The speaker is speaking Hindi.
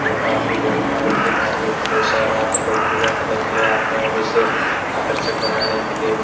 काफी बढ़िया हिंदू धर्म के अनुसार पूजा करने के लिए आते हैं और इसे आकर्षक बनाने के लिए --